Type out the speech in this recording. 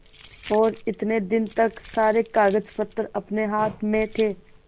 और इतने दिन तक सारे कागजपत्र अपने हाथ में थे